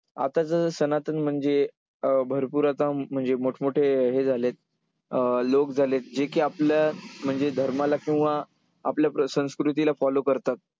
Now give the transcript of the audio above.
आता जस सनातन म्हणजे अं भरपूर आता म्हणजे मोठ-मोठे हे झालेत, अं लोक झालेत जे की आपल्या म्हणजे धर्माला किंवा आपल्या संस्कृतीला follow करतात.